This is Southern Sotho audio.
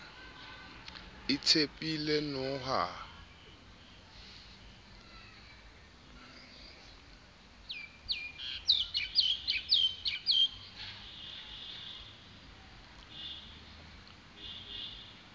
itshepile noha ha e ntshwe